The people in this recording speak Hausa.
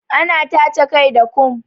Ana tace kai da kom